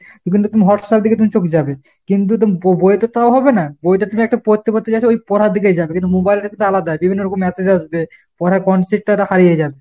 Whatsapp এ দিকে তুমি চোখ যাবে। কিন্তু তুমি ব~ বই এ তে তা হবে না। কিন্তু বই এ তে তুমি একটা পড়তে পড়তে যাচ্ছো ওই পড়ার দিকেই যাবে। কিন্তু mobile এ তা আলাদা, বিভিন্ন রকম massage আসবে। পড়ার consit টা তো হারিয়ে যাবে।